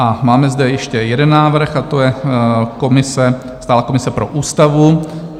A máme zde ještě jeden návrh, a to je komise, stálá komise pro ústavu.